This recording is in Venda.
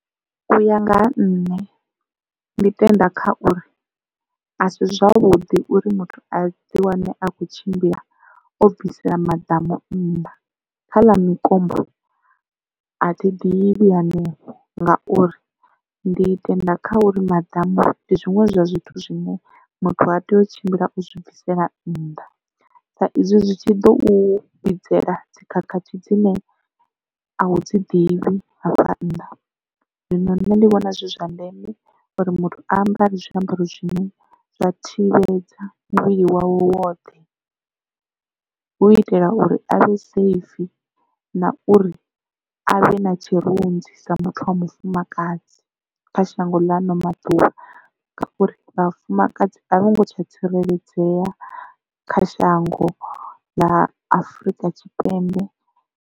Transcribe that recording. U ya nga ha nṋe ndi tenda kha uri a si zwavhuḓi uri muthu a ḓi wane a khou tshimbila o bvisela maḓamu nnḓa, kha ḽa mikombo a thi ḓivhi hanefho ngauri ndi tenda kha uri maḓamu ndi zwiṅwe zwa zwithu zwine muthu ha tei u tshimbila o zwi bvisela nnḓa. Sa izwi zwi tshi ḓo u vhidzelela dzikhakhathi dzine a u dzi ḓivhi hafha nnḓa. Zwino nṋe ndi vhona zwi zwa ndeme uri muthu a ambare zwiambaro zwine zwa thivhedza muvhili wawe woṱhe hu itela uri a vhe safe na uri a vhe na tshirunzi sa muthu wa mufumakadzi kha shango ḽa hano maḓuvha, ngauri vhafumakadzi a vho ngo tsha tsireledzea kha shango ḽa Afurika Tshipembe.